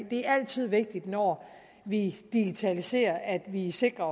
altid vigtigt når vi digitaliserer at vi vi sikrer